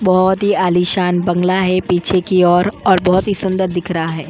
बहुत ही आलीशान बंगला है पीछे की ओर और बहुत ही सुंदर दिख रहा है।